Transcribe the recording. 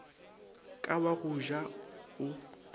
ka wa go ja o